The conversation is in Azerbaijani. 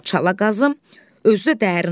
Çala qazım, özü də dərin olsun.